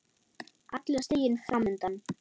Allur stiginn fram undan.